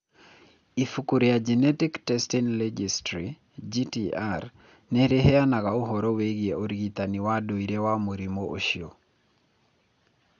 Ibuku rĩa Genetic Testing Registry (GTR) nĩ rĩheanaga ũhoro wĩgiĩ ũrigitani wa ndũire wa mũrimũ ũcio.